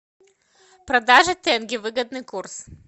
продажа тенге выгодный курс